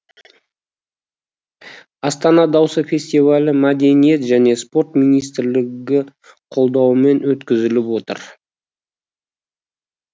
астана дауысы фестивалі мәдениет және спорт министрлігі қолдауымен өткізіліп отыр